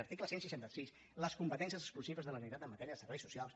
article cent i seixanta sis les competències exclusives de la generalitat en matèria de serveis socials